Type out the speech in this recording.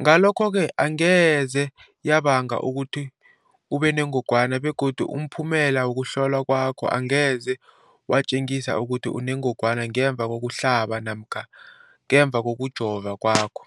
Ngalokho-ke angeze yabanga ukuthi ubenengogwana begodu umphumela wokuhlolwan kwakho angeze watjengisa ukuthi unengogwana ngemva kokuhlaba namkha kokujova kwakho.